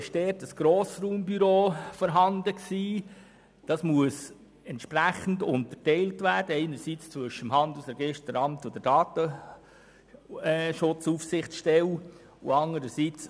Heute besteht dort ein ehemaliges Grossraumbüro, welches entsprechend zwischen dem Handelsregisteramt und der Datenaufsichtsstelle aufgeteilt werden muss.